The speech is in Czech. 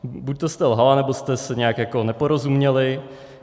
Buďto jste lhala, nebo jste si nějak jako neporozuměly.